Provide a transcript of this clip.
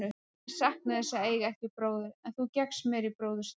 Ég saknaði þess að eiga ekki bróður, en þú gekkst mér í bróður stað.